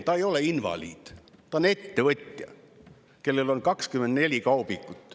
Ta ei ole invaliid, ta on ettevõtja, kellel on 24 kaubikut.